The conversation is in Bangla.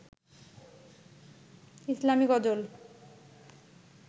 ইসলামি গজল